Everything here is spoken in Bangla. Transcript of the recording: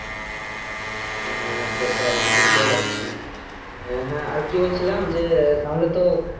হু হু সেটাই বুজতেই পারছি হ্যা হ্যা আর কি আর কি বলছিলাম যে তাহলে তো।